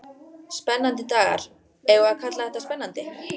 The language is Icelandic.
Spennandi dagar, eigum við að kalla þetta spennandi?